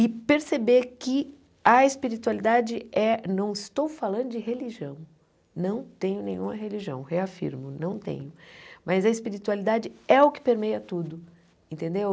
E perceber que a espiritualidade é, não estou falando de religião, não tenho nenhuma religião, reafirmo, não tenho, mas a espiritualidade é o que permeia tudo, entendeu?